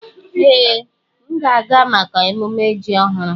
Ee, m ga-aga maka emumme ji ọhụrụ.